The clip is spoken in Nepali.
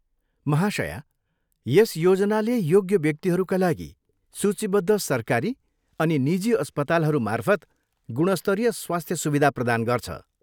महाशया, यस योजनाले योग्य व्यक्तिहरूका लागि सूचीबद्ध सरकारी अनि निजी अस्पतालहरू मार्फत गुणस्तरीय स्वास्थ्य सुविधा प्रदान गर्छ।